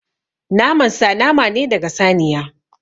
Naman sa nama ne daga saniya.